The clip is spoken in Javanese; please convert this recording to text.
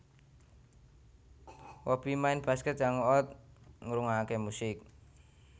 Hobi Main basket Hang out ngrungokake musik